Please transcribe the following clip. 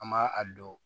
An m'a a dɔn